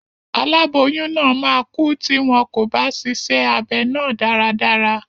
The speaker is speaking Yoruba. Aláboyún náà máa kú tí wọn kò bá ṣíṣe abẹ náà dáradára.